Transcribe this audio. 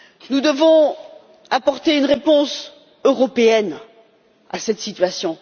Nous devons apporter une réponse européenne à cette situation.